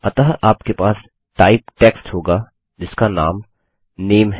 अतः आपके पास टाइप टेक्स्ट होगा जिसका नाम नामे है